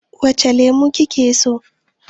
Wace lemo kike so?